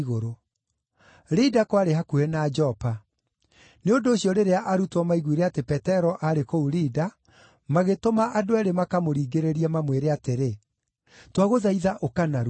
Lida kwarĩ hakuhĩ na Jopa; nĩ ũndũ ũcio rĩrĩa arutwo maaiguire atĩ Petero aarĩ kũu Lida, magĩtũma andũ eerĩ makamũringĩrĩrie mamwĩre atĩrĩ, “Twagũthaitha ũka narua!”